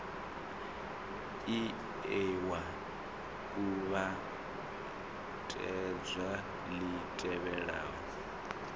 ie wa kuvhatedza li tevhelaho